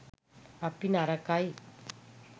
අපි නරකයි